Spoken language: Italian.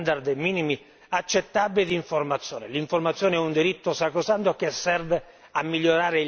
L'informazione è un diritto sacrosanto che serve a migliorare il contesto civile nel quale sviluppiamo la nostra attività.